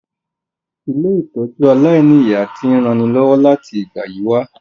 Ilé-ìtójú aláìniya ti n ranilọ́wọ́ láti ìgbà yi wa